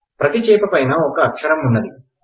ప్రతీ చేపపైన ఒక అక్షరం ఉన్నది